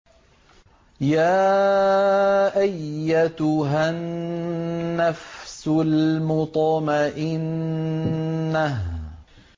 يَا أَيَّتُهَا النَّفْسُ الْمُطْمَئِنَّةُ